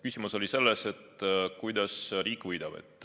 Küsimus oli selles, kuidas riik võidab.